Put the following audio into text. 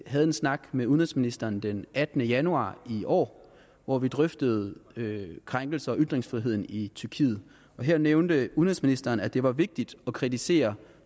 havde en snak med udenrigsministeren den attende januar i år hvor vi drøftede krænkelser af ytringsfriheden i tyrkiet her nævnte udenrigsministeren at det var vigtigt at kritisere